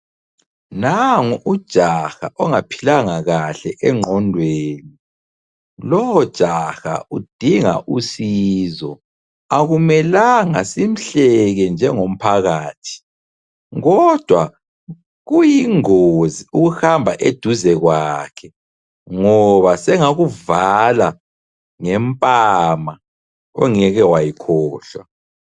Nangu ujaha ongaphilanga kahle engqondweni. Lowojaha udinga usizo. Akumelanga simhleke njengomphakathi, kodwa kuyingozi ukuhamba eduze kwakhe ngoba sengakuvala ngempama ongeke wayikhohlwa.